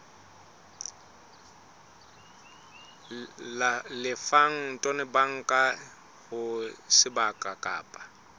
lefang tonobankeng ho sebaka kapa